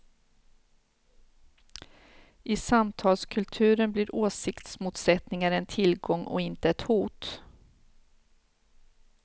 I samtalskulturen blir åsiktsmotsättningar en tillgång och inte ett hot.